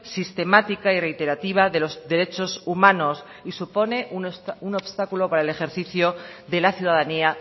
sistemática y reiterativa de los derechos humanos y supone un obstáculo para el ejercicio de la ciudadanía